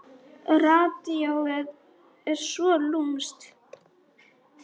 Radíóið er svo lúmskt.